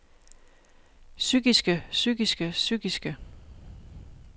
psykiske psykiske psykiske